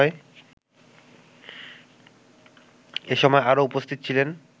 এসময় আরো উপস্থিত ছিলেন